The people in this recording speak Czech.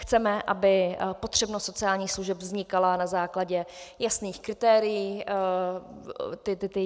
Chceme, aby potřebnost sociálních služeb vznikala na základě jasných kritérií.